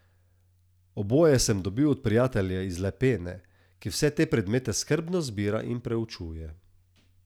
Oboje sem dobil od prijatelja iz Lepene, ki vse te predmete skrbno zbira in preučuje...